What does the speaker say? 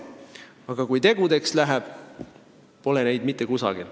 Aga kui tegudeks läheb, pole neid mitte kusagil.